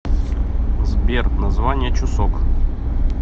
сбер название чусок